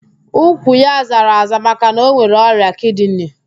Ụkwụ ya zara aza maka na ọ nwere ọrịa kidini